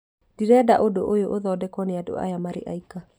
ndĩrenda ũndũ ũyũ ũthondekwo nĩ andũ aya marĩ aika